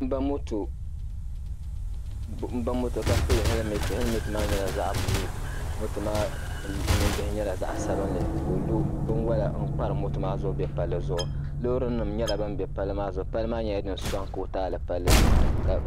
M-ba moto ka pili hɛlimɛnti. Hɛlimɛnti maa nyɛla zaɣ' buluu. Moto maa nimbihi nyɛla zaɣ' sabilinli ka o lo binwala n-kparim moto maa zuɣu be palli zuɣu. Loorinima nyɛla ban be palli maa zuɣu. Palli maa nyɛla din sɔŋ kootaali.